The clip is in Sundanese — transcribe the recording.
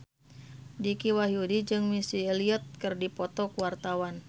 Dicky Wahyudi jeung Missy Elliott keur dipoto ku wartawan